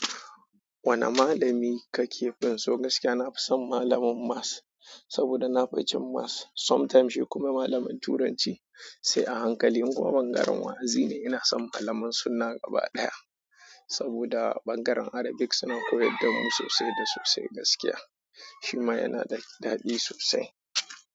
Wane malami kake finso gaskiya? Na fi son malamin maths saboda na fi cin maths. Sometimes shi kuma malamin turanci. Sai a hankali in kuma bangaren wa'azi ne. Ina son malaman sunna gaba daya saboda ɓangaren Arabic suna koyar da mu sosai da sosai gaskiya. Shi ma yana da daɗi sosai.